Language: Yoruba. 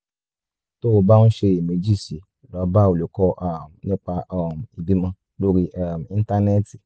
tó o bá ń ṣiyèméjì sí i lọ bá olùkọ́ um nípa um ìbímọ lórí um íńtánẹ́ẹ̀tì